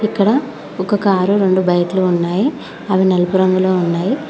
ఇక్కడ ఒక కారు రొండు బైక్లు ఉన్నాయి అవి నలుపు రంగులో ఉన్నాయి.